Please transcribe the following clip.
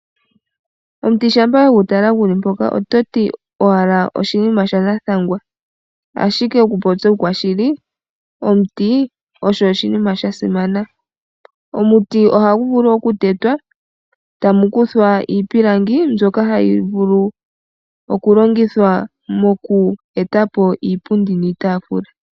Omuti shampa we gu tala gu li mpoka ototi owala oshinima shanathangwa, ashike okupopya uukwashili omuti osho oshinima sha simana. Omuti ohagu vulu okutetwa tamu kuthwa iipilangi mbyoka hayi vulu okulongithwa moku e ta po iipundi niitaafula.